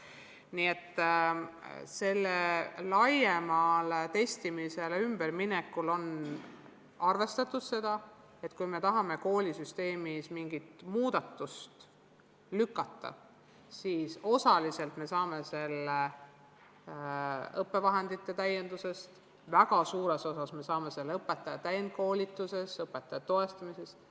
Nii et laiemale testimisele ülemineku puhul on arvestatud seda, et kui tahame koolisüsteemis mingit muutust esile kutsuda, siis osaliselt saame seda teha õppevahendite täiendamise kaudu, väga suures osas ka õpetaja täienduskoolituste ja õpetaja toetamise kaudu.